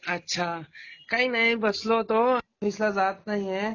अच्छा, काही नाही, बसलो होतो ऑफिसला जात नाही